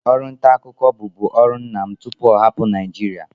Ọrụ nta akụkọ bụ bu ọrụ nna m tupu ọ hapụ Naịjirịa